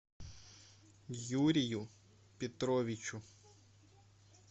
юрию петровичу